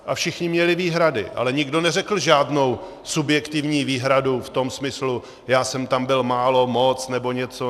A všichni měli výhrady, ale nikdo neřekl žádnou subjektivní výhradu v tom smyslu: Já jsem tam byl málo, moc nebo něco.